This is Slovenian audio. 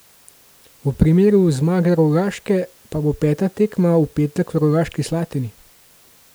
V primeru zmage Rogaške pa bo peta tekma v petek v Rogaški Slatini.